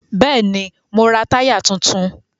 Bẹ́ẹ̀ni, mo ra táyà tuntun